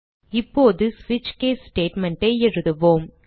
இப்போது ஸ்விட்ச் case statement ஐ எழுதுவோம்